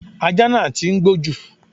Ajá náà tí ń gbó jù.